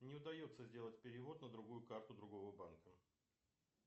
не удается сделать перевод на другую карту другого банка